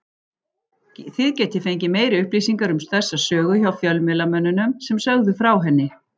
Þið getið fengið meiri upplýsingar um þessa sögu hjá fjölmiðlamönnunum sem sögðu frá henni.